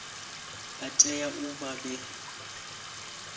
vha tea u vha vhe